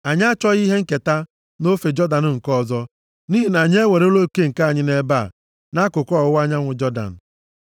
Anyị achọghị ihe nketa, nʼofe Jọdan nke ọzọ, nʼihi na anyị ewerela oke nke anyị nʼebe a, nʼakụkụ ọwụwa anyanwụ Jọdan.”